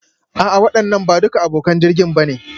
A'a waɗannan ba duka abokan jirgin ba ne